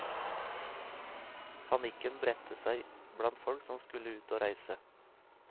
Panikken bredte seg blant folk som skulle ut å reise.